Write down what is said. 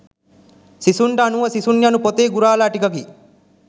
සිසුන්ට අනුව සිසුන් යනු පොතේ ගුරාලා ටිකකි